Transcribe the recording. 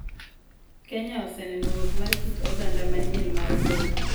Kenya oseneno wuok mar kit oganda manyien mar boma